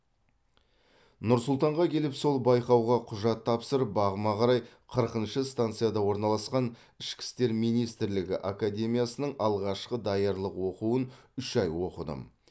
нұр сұлтанға келіп сол байқауға құжат тапсырып бағыма қарай қырқыншы станцияда орналасқан ішкі істер министрлігі академиясының алғашқы даярлық оқуын үш ай оқыдым